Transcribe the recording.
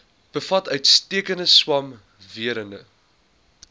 bevat uitstekende swamwerende